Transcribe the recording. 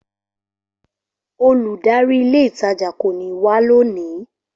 Olùdarí ilé ìtajà kò ní wá lónìí